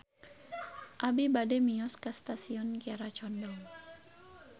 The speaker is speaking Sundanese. Abi bade mios ka Stasiun Kiara Condong